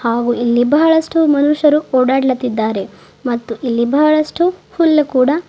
ಹಾಗೂ ಇಲ್ಲಿ ಬಹಳಷ್ಟು ಮನುಷ್ಯರು ಓಡಾಡುತ್ತಿದ್ದಾರೆ ಮತ್ತು ಇಲ್ಲಿ ಬಹಳಷ್ಟು ಹುಲ್ಲು ಕೂಡ.